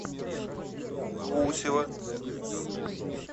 гусева